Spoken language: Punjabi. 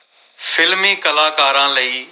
films ਕਲਾਕਾਰਾਂ ਲਈ ।